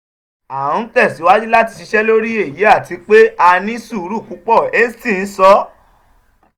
a n tẹsiwaju lati ṣiṣẹ lori eyi ati pe a ni suuru pupọ hastings sọ.